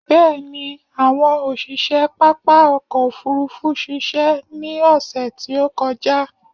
Bẹ̀ẹ̀ni, àwọn òṣiṣe pápá ọkò òfurufú ṣiṣẹ́ ní ọsẹ̀ tí ó kọjá.